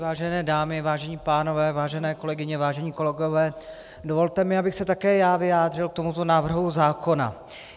Vážené dámy, vážení pánové, vážené kolegyně, vážení kolegové, dovolte mi, abych se také já vyjádřil k tomuto návrhu zákona.